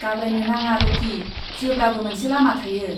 गाब्रायनो नाङा, रकि। जेब्लाबो मोनसे लामा थायो।